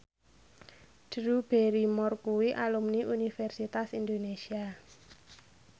Drew Barrymore kuwi alumni Universitas Indonesia